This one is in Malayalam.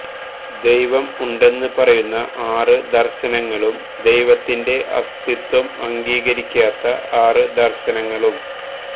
ദൈവം ഉണ്ടെന്ന് പറയുന്ന ആറ് ദര്ശനങ്ങളും ദൈവത്തിന്റെ അസ്തിത്വം അംഗീകരിക്കാത്ത ആറ് ദര്ശനങ്ങളും